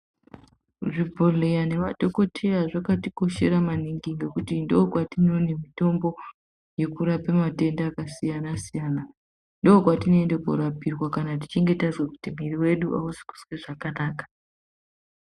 Zvibhehleya nemadhokoteya zvakatikoshera maningi ngekuti ndokwetinoone mitombo yekurape matenda akasiyana -siyana, ndokwetinoenda korapirwa kana tichinge tazwa kuti mwiri wedu ausi kuzwa zvakanaka.